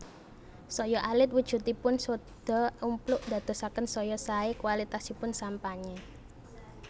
Saya alit wujudipun sodha umpluk ndadosaken saya saé kwalitasipun sampanye